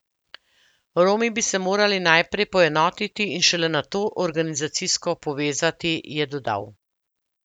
Romi bi se morali najprej poenotiti in šele nato organizacijsko povezati, je dodal.